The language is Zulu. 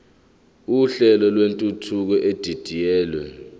uhlelo lwentuthuko edidiyelwe